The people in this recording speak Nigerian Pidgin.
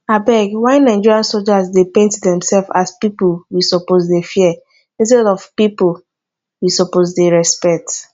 abeg why nigerian soldiers dey paint themselves as people we suppose dey fear instead of people we suppose dey respect